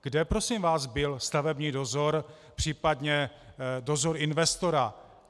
Kde prosím vás byl stavební dozor, případně dozor investora?